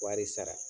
Wari sara